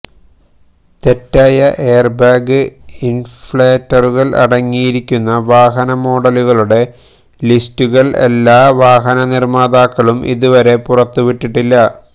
തെറ്റായ എയര്ബാഗ് ഇന്ഫ്ലേറ്ററുകള് അടങ്ങിയിരിക്കുന്ന വാഹന മോഡലുകളുടെ ലിസ്റ്റുകള് എല്ലാ വാഹന നിര്മാതാക്കളും ഇതുവരെ പുറത്തുവിട്ടിട്ടില്ല